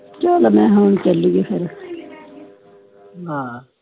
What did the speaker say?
ਚਾਲ ਮਈ ਚਲੀਏ ਫੇਰ